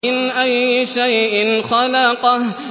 مِنْ أَيِّ شَيْءٍ خَلَقَهُ